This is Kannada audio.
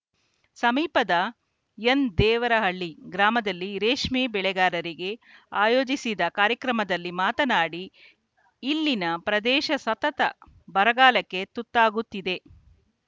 ಸಮೀಪದ ಎನ್‌ದೇವರಹಳ್ಳಿ ಗ್ರಾಮದಲ್ಲಿ ರೇಷ್ಮೆ ಬೆಳೆಗಾರರಿಗೆ ಆಯೋಜಿಸಿದ ಕಾರ್ಯಕ್ರಮದಲ್ಲಿ ಮಾತನಾಡಿ ಇಲ್ಲಿನ ಪ್ರದೇಶ ಸತತ ಬರಗಾಲಕ್ಕೆ ತುತ್ತಾಗುತ್ತಿದೆ